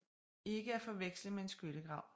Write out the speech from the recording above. Ikke at forveksle med en skyttegrav